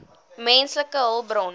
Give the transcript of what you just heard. menslike hulpbronne